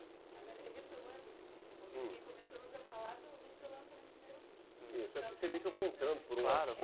Agora, retomando, hum, um pouquinho, porque começamos a falar do seu lançamento do primeiro livro.